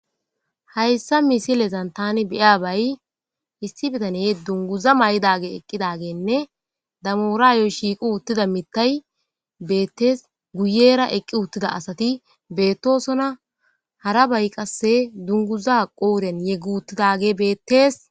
hayssa misilezan tani beya bay issi bitane dunguza may7dage eqqidagenne damoraayoy shiiqu uttida mittay beettees guyera eqqi uttida asati beettoosona hara bay qasse dunguza qouren yeggu uttidage bettees